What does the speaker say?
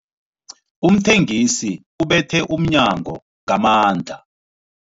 Umthengisi ubethe umnyango ngamandla.